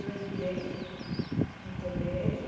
Eu entrei no colégio